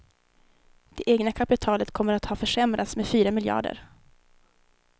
Det egna kapitalet kommer att ha försämrats med fyra miljarder.